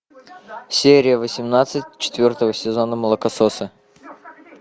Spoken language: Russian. серия восемнадцать четвертого сезона молокососы